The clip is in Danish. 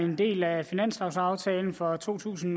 en del af finanslovaftalen for to tusind